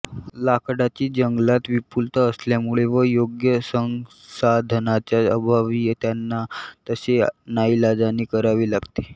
लाकडाची जंगलात विपूलता असल्यामुळे व योग्य संसाधनांच्या अभावी त्यांना तसे नाईलाजाने करावे लागते